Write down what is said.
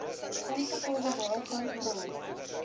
ingevolge waarvan grond